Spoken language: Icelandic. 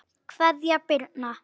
Kveðja, Birna.